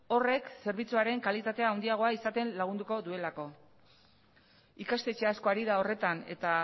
horrek zerbitzuaren kalitatea handiagoa izaten lagunduko duelako ikastetxe asko ari da horretan eta